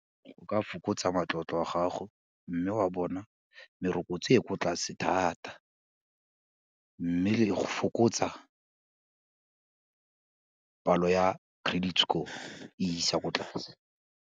Go ka fokotsa matlotlo a gago, mme wa bona merokotso e kwa tlase thata mme le go fokotsa palo ya credit score e isa kwa tlase.